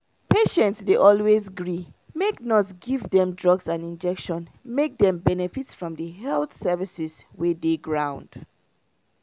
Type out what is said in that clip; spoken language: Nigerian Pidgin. patients dey always gree make nurse give dem drugs and injection make dem benefit from di health services wey dey ground.